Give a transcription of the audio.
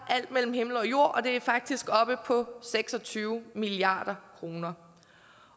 er alt mellem himmel og jord og det er faktisk oppe på seks og tyve milliard kroner